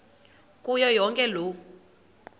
kuyo yonke loo